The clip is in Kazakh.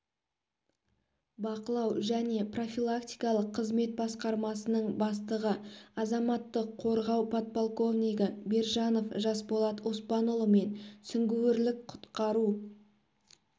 бақылау және профилактикалық қызмет басқармасының бастығы азаматтық қорғау подполковнигі бержанов жасболат оспанұлы мен сүңгуірлік құтқару